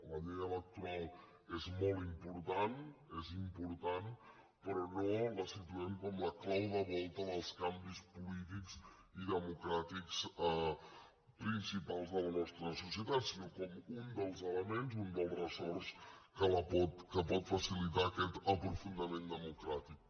la llei electoral és molt important és important però no la situem com la clau de volta dels canvis polítics i democràtics principals de la nostra societat sinó com un dels elements un dels ressorts que pot facilitar aquest aprofundiment democràtic